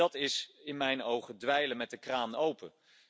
Dat is in mijn ogen dweilen met de kraan open.